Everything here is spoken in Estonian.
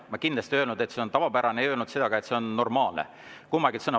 Ma kindlasti ei öelnud, et see on tavapärane, ei öelnud seda, et see on normaalne – kumbagi sõna ei kasutanud.